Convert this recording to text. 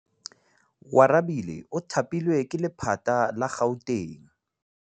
Oarabile o thapilwe ke lephata la Gauteng.